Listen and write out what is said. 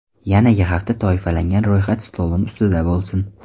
Yanagi hafta toifalangan ro‘yxat stolim ustida bo‘lsin.